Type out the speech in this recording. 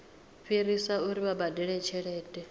fhirisa uri vha badele tshelede